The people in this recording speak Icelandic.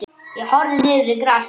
Ég horfði niður í grasið.